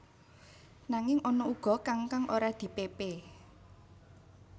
Nanging ana uga kang kang ora dipépé